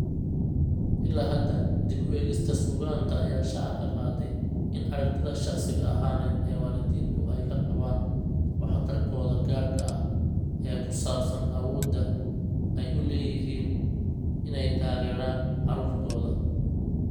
Ilaa hadda, dib u eegista suugaanta ayaa shaaca ka qaaday in aragtida shakhsi ahaaneed ee waalidiintu ay ka qabaan waxtarkooda gaarka ah ee ku saabsan awoodda ay u leeyihiin inay taageeraan carruurtooda.